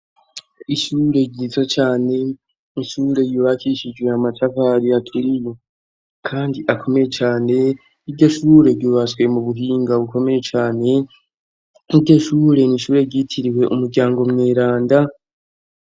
Ishure ryiza cane, ishure yubakishijwe amatafari aturiye kandi akomeye cane, iryo shure ryubatswe mu buhinga bukomeye cane, iryo shure, ni ishure ryitiriwe umuryango mweranda.